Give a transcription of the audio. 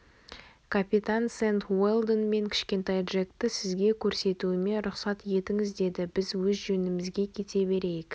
капитан сэнд уэлдон мен кішкентай джекті сізге көрсетуіме рұқсат етіңіз деді біз өз жөнімізге кете берейік